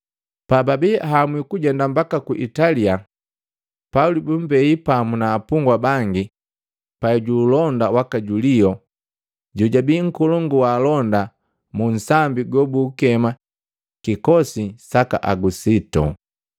Pababii ahamwi kujenda mbaka ku Italia, Pauli bumbei pamu na apungwa bangi pai ju ulonda waka Julio, jojabii nkolongu wa alonda mu nsambi gobuukema, “Kikosi saka Agusito.”